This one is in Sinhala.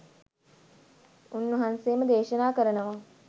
උන්වහන්සේම දේශනා කරනවා.